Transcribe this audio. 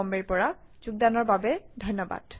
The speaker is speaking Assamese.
সংযুক্ত হোৱাৰ বাবে ধন্যবাদ